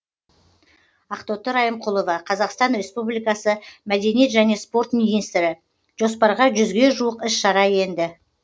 ақтоты райымқұлова қазақстан республикасы мәдениет және спорт министрі жоспарға жүзге жуық іс шара енді